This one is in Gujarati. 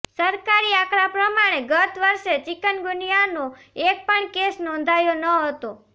સરકારી આંકડા પ્રમાણે ગત વર્ષે ચીકનગુનીયાાનો એક પણ કેસ નોંધાયો ન હતો